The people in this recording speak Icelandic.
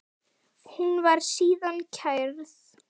Hún var síðan kærð.